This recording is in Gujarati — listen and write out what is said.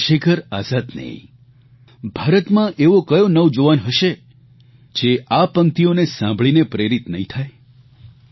ચંદ્રશેખર આઝાદની ભારતમાં એવો કયો નવજુવાન હશે જે આ પંક્તિઓને સાંભળીને પ્રેરીત નહીં થાય